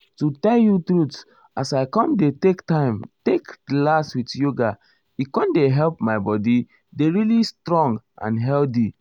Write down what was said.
to tell you truth as i com dey take time take relax with yoga e com dey help my body dey really stong and healthy.